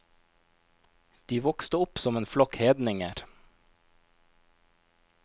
De vokste opp som en flokk hedninger.